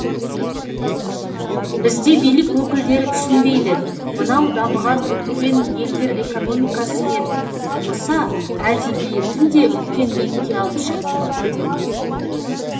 бізде билік өкілдері түсінбейді мынау дамыған үлкен елдер экономикасымен қоса әдебиетін де үлкен биікке алып шықты